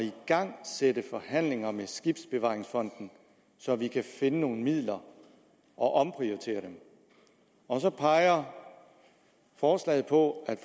igangsætte forhandlinger med skibsbevaringsfonden så vi kan finde nogle midler og omprioritere dem og så peger forslaget på at